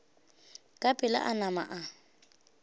ka pela a nama a